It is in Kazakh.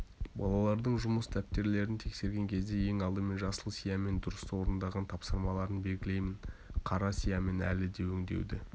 балалардың жұмыс дәптерлерін тексерген кезде ең алдымен жасыл сиямен дұрыс орындаған тапсырмаларын белгілеймен қара сиямен әлі де өңдеуді